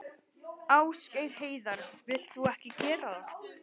Ásgeir Heiðar: Vilt þú ekki gera það?